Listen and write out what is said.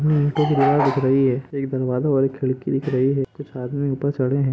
हम्म दीवार दिख रही है एक दरवाजा और एक खिड़की दिख रही है कुछ आदमी ऊपर चढ़े है।